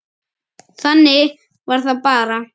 Þannig var það bara.